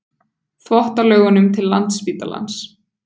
Þvottalaugunum til Landspítalans.